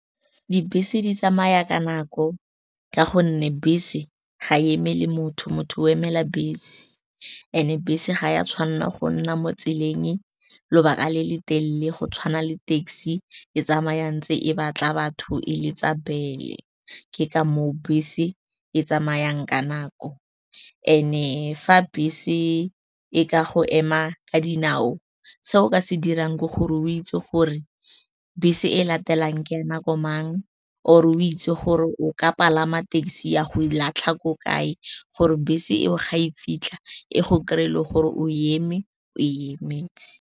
Dibese di tsamaya ka nako ka gonne bese ga emele motho, motho o emela bese. And-e bese ga ya tshwanela go nna mo tseleng lobaka le le telele go tshwana le taxi, e tsamaya ntse e batla batho, e letsa bell-e. Ke ka moo bese e tsamayang ka nako and-e fa bese e ka go ema ka dinao, seo o ka se dirang ke gore o itse gore bese e latelang ke ya nako mang or o itse gore o ka palama taxi ya go latlha ko kae gore bese eo ga e fitlha, e go kry-e le gore o eme, o emetse.